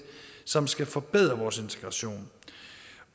som skal forbedre vores integration